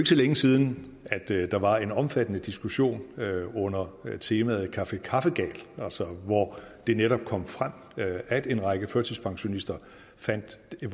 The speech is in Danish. så længe siden at der var en omfattende diskussion under temaet café kaffegal hvor det netop kom frem at en række førtidspensionister fandt at det